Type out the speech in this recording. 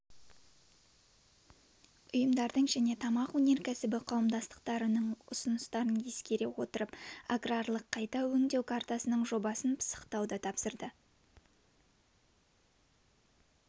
ұйымдардың және тамақ өнеркәсібі қауымдастықтарының ұсыныстарын ескере отырып аграрлық қайта өңдеу картасының жобасын пысықтауды тапсырды